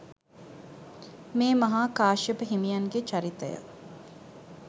මේ මහා කාශ්‍යප හිමියන්ගේ චරිතය